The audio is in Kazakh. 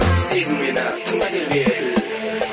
сезін мені тыңда бері кел